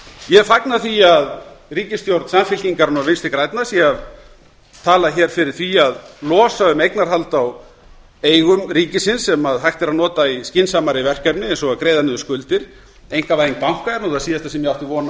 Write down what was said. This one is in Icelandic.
ég fagna því að ríkisstjórn samfylkingarinnar og vinstri grænna sé að tala fyrir því að losa um eignarhald á eigum ríkisins sem hægt er að nota í skynsamari verkefni eins og að greiða niður skuldir einkavæðing banka er það síðasta sem ég átti von